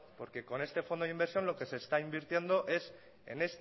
porque con este fondo de inversión lo que se está invirtiendo es en